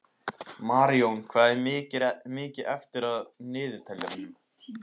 Marjón, hvað er mikið eftir af niðurteljaranum?